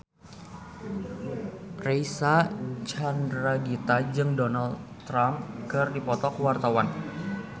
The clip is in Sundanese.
Reysa Chandragitta jeung Donald Trump keur dipoto ku wartawan